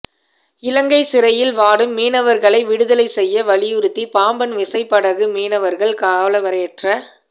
இலங்கை சிறையில் வாடும் மீனவர்களை விடுதலை செய்ய வலியுறுத்தி பாம்பன் விசைப்படகு மீனவர்கள் காலவரையற்ற